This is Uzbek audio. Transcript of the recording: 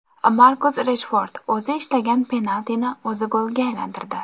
Markus Reshford o‘zi ishlagan penaltini o‘zi golga aylantirdi.